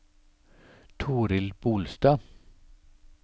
Toril Bolstad